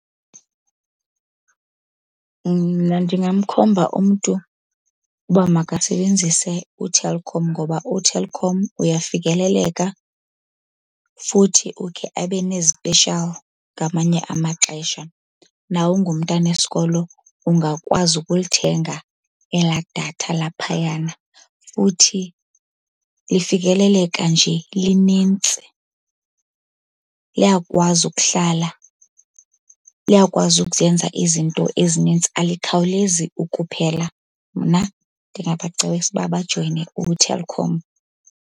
Ndingamkhomba umntu uba makasebenzise uTelkom ngoba uTelkom uyafikeleleka, futhi ukhe abe nezipeshiyali ngamanye amaxesha. Nawe ungumntana wesikolo ungakwazi ukulithenga elaa datha laphayana futhi lifikeleleka nje linintsi. Liyakwazi ukuhlala, liyakwazi ukuzenza izinto ezinintsi alikhawulezi ukuphela. Mna ndingabacebisa uba bajoyine uTelkom.